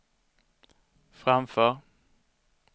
framför